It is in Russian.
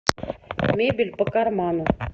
мебель по карману